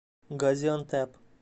газиантеп